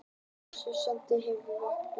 Niðurstaða: Snati hefur vængi.